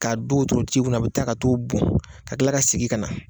K'a do wotoro tigi kunna ,a bɛ taa ka t'o bon , ka tila ka sigin ka na.